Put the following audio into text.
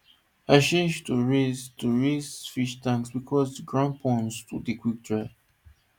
i change to raised to raised fish tanks because ground ponds too dey quick dey